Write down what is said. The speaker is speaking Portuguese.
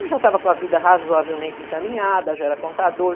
Ele já estava com a vida razoavelmente encaminhada, já era contador.